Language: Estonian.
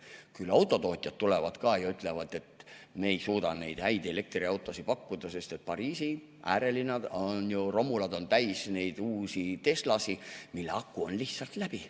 Küll autotootjad tulevad ka ja ütlevad, et me ei suuda neid häid elektriautosid pakkuda, sest Pariisi äärelinna romulad on täis neid uusi Teslasid, mille aku on lihtsalt läbi.